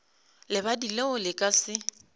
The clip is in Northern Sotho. lebadi leo le ka se